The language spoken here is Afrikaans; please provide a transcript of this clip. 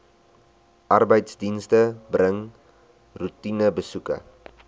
arbeidsdienste bring roetinebesoeke